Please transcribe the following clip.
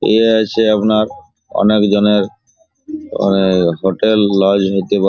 ইয়ে আছে আপনার অনেকজনের এ এ হোটেল লজ --